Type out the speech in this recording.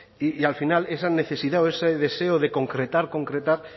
y al final esa necesidad o ese deseo de concretar concretar